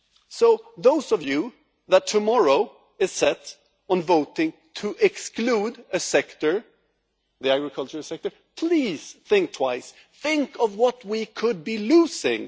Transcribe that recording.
So those of you who are set on voting tomorrow to exclude a sector the agriculture sector please think twice. Think of what we could be losing.